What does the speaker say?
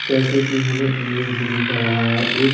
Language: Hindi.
जैसे कि हमें ईमेज में दिख रहा है एक--